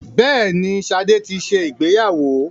Bẹ́ẹ̀ni, Ṣadé ti ṣe ìgbéyàwó.